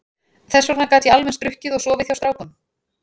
Þess vegna gat ég alveg eins drukkið og sofið hjá strákum.